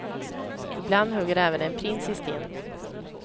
Ibland hugger även en prins i sten.